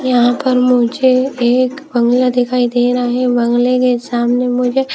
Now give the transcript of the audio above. यहां पर मुझे एक बंगला दिखाई दे रहा है बंगले के सामने मुझे--